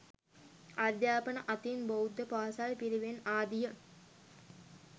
අධ්‍යාපනය අතින් බෞද්ධ පාසල් පිරිවෙන් ආදිය